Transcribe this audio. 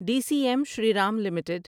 D C M Shriram limited